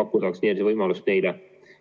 pakkuda vaktsineerimise võimalust neilegi.